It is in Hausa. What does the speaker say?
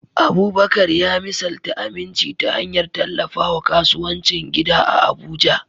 Abubakar ya misalta aminci ta hanyar tallafawa kasuwancin gida a Abuja.